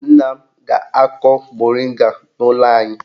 Nna m ga-akọ moringa n'ụlọ anyị.